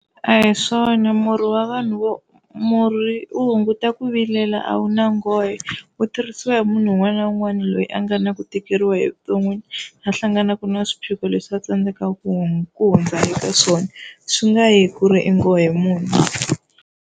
A hi swona murhi wa vanhu vo murhi u hunguta ku vilela a wu na ngohe wu tirhisiwa hi munhu un'wana na un'wana loyi a nga na ku tikeriwa evuton'wini, a hlanganaka na swiphiqo leswi va tsandzekaka ku ku hundza eka swona swi nga hi ku ri i nghohe muni.